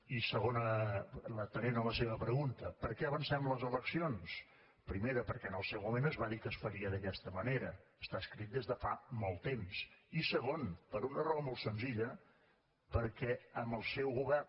i segona i atenent a la seva pregunta per què avancem les eleccions primer perquè en el seu moment es va dir que es faria d’aquesta manera està escrit des de fa molt temps i segon per una raó molt senzilla perquè amb el seu govern